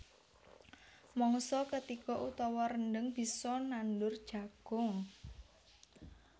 Mangsa ketiga utawa rendheng bisa nandur jagung